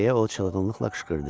deyə o çılğınlıqla qışqırdı.